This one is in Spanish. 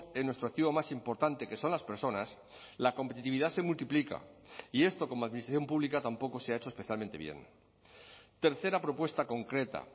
en nuestro activo más importante que son las personas la competitividad se multiplica y esto como administración pública tampoco se ha hecho especialmente bien tercera propuesta concreta